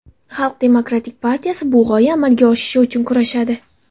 Xalq demokratik partiyasi bu g‘oya amalga oshishi uchun kurashadi.